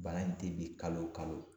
Bana in te bin kalo o kalo